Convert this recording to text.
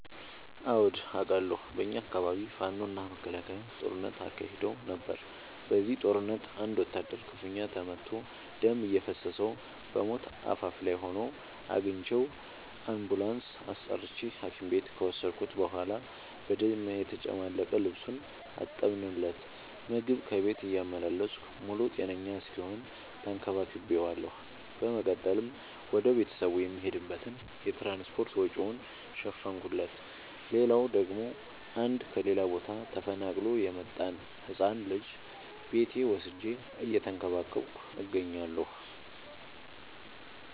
አዎድ አቃለሁ። በኛ አካባቢ ፋኖ እና መከላከያ ጦርነት አካሂደው ነበር። በዚህ ጦርነት አንድ ወታደር ክፋኛ ተመቶ ደም እየፈሰሰው በሞት አፋፍ ላይ ሆኖ አግኝቼው። አንቡላንስ አስጠርቼ ሀኪም ቤት ከወሰድከት በኋላ በደም የተጨማለቀ ልብሱን አጠብለት። ምግብ ከቤት እያመላለስኩ ሙሉ ጤነኛ እስኪሆን ተከባክ ቤዋለሁ። በመቀጠልም ወደ ቤተሰቡ የሚሄድበትን የትራንስፓርት ወጪውን ሸፈንኩለት። ሌላላው ደግሞ አንድ ከሌላ ቦታ ተፈናቅሎ የመጣን ህፃን ልጅ ቤቴ ወስጄ እየተንከባከብኩ እገኛለሁ።